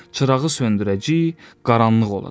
Çırağı söndürəcəyik, qaranlıq olacaq.